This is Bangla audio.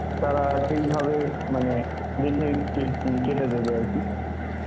তারা সেই ভাবে মানে দেখে কে~ কেটে দেবে আরকি.